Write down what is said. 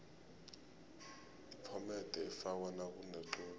iphomede ifakwa nakunequde